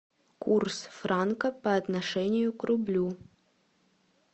курс франка по отношению к рублю